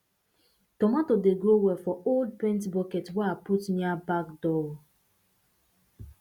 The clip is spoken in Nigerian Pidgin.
tomato dey grow well for old paint bucket wey i put near back door um